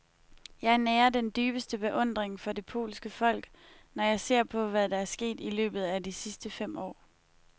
Jeg nærer den dybeste beundring for det polske folk, når jeg ser på, hvad der er sket i løbet af de sidste fem år.